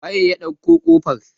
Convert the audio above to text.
waye ya ɗauko kofar?